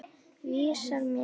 Vísar mér rétt, frá röngu.